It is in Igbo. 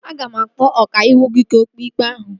Ị ga-akpọ ọkàiwụ gị ka o kpee ikpe ahụ